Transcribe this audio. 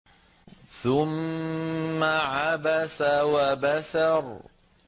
ثُمَّ عَبَسَ وَبَسَرَ